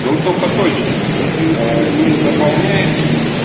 ну только точно если мы цветы не заполняем